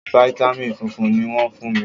Fítámìn funfun ni wọ́n fún mi.